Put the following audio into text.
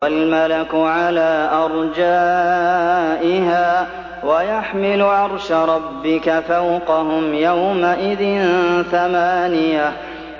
وَالْمَلَكُ عَلَىٰ أَرْجَائِهَا ۚ وَيَحْمِلُ عَرْشَ رَبِّكَ فَوْقَهُمْ يَوْمَئِذٍ ثَمَانِيَةٌ